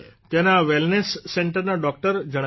ત્યાંના વેલનેસ સેન્ટરના ડોકટર જણાવે છે